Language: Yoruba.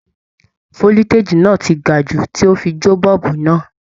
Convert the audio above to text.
Foliteji náà tí gà jù tó fí jo boolubu náà